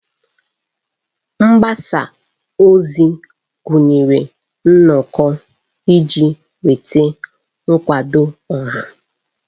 Mgbasa ozi gụnyere nnọkọ iji nweta nkwado ọha.